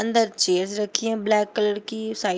अंदर चेयर रखी हैं ब्लैक कलर की साइड --